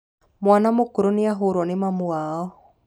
Mwana mũkoroku nĩahũruo nĩ mamiwao.